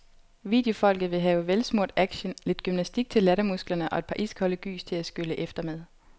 Videofolket vil have velsmurt action, lidt gymnastik til lattermusklerne og et par iskolde gys til at skylle efter med.